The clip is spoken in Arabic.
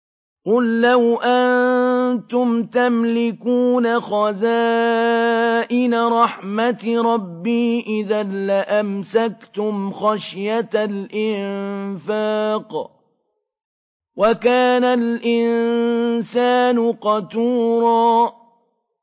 قُل لَّوْ أَنتُمْ تَمْلِكُونَ خَزَائِنَ رَحْمَةِ رَبِّي إِذًا لَّأَمْسَكْتُمْ خَشْيَةَ الْإِنفَاقِ ۚ وَكَانَ الْإِنسَانُ قَتُورًا